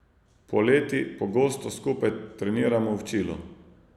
Poleti pogosto skupaj treniramo v Čilu.